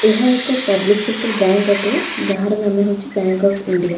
ଏହା ଏକ public sector bank ଅଟେ ଯାହାର ନାମ ହେଉଛି ବ୍ୟାଙ୍କ ଅଫ୍ ଇଣ୍ଡିଆ ।